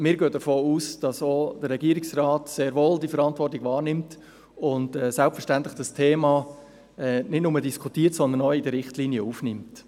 Wir gehen jedoch davon aus, dass der Regierungsrat diese Verantwortung wahrnimmt und das Thema selbstverständlich nicht nur diskutiert, sondern auch in die Richtlinien aufnimmt.